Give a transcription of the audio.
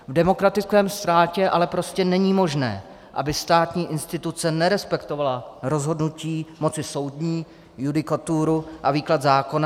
V demokratickém státě ale prostě není možné, aby státní instituce nerespektovala rozhodnutí moci soudní, judikaturu a výklad zákona.